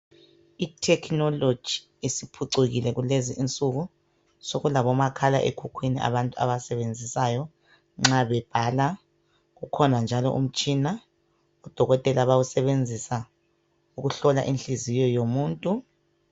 I technology isiphucukile kulezinsuku, sekulabomakhala ekhukhwini abantu abawasebenzisayo nxa bebhala. Kukhona njalo umtshina odokotela bayawusebenzisa ukuhlola inhliziyo yomuntu.